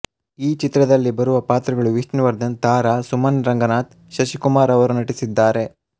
ಈ ಚಿತ್ರದಲ್ಲಿ ಬರುವ ಪಾತ್ರಗಳು ವಿಷ್ಣುವರ್ಧನ್ ತಾರ ಸುಮನ್ ರಂಗನಾಥ್ ಶಶಿಕುಮಾರ್ ಅವರು ನಟಿಸಿದ್ದಾರೆ